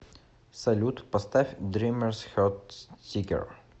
салют поставь дримерс хет сикер